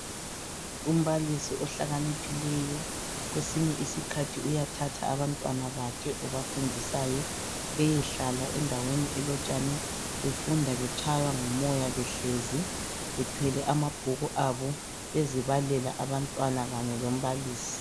Umbalisi ohlakaniphileyo kwesinye isikhathi uyathatha abantwana bakhe obafundisayo beyehlala endaweni elotshani befunda betshaywa ngumoya behlezi bethwele amabhuku abo bezibalela abantwana kanye lombalisi